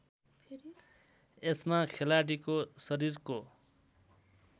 यसमा खेलाडीको शरीरको